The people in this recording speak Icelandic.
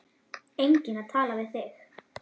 Enginn að tala við.